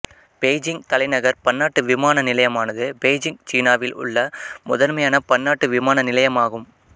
Beijing தலைநகர் பன்னாட்டு விமான நிலையம் ஆனது பெய்ஜிங் சீனாவில் உள்ள முதன்மையான பன்னாட்டு விமான நிலையம் ஆகும்